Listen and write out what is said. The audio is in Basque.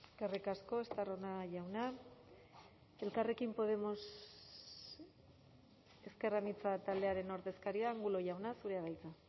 eskerrik asko estarrona jauna elkarrekin podemos ezker anitza taldearen ordezkaria angulo jauna zurea da hitza